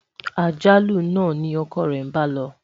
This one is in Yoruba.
àjálù nà ní ọkọ re bá ló